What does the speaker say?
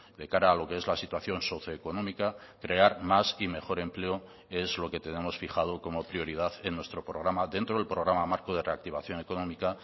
de cara a lo que es la situación socio económica crear más y mejor empleo es lo que tenemos fijado como prioridad en nuestro programa dentro del programa marco de reactivación económica